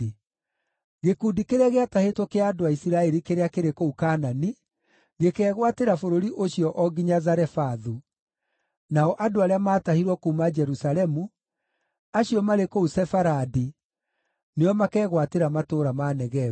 Gĩkundi kĩrĩa gĩatahĩtwo kĩa andũ a Isiraeli kĩrĩa kĩrĩ kũu Kaanani, gĩkeegwatĩra bũrũri ũcio o nginya Zarefathu; nao andũ arĩa maatahirwo kuuma Jerusalemu, acio marĩ kũu Sefaradi, nĩo makegwatĩra matũũra ma Negevu.